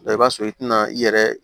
i b'a sɔrɔ i tɛna i yɛrɛ